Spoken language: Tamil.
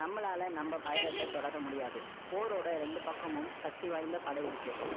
நம்மளால நம்ம பயணத்தை தொடர முடியாது. போரோட ரெண்டு பக்கமும், சக்தி வாய்ந்த படை இருக்கு